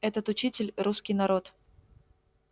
этот учитель русский народ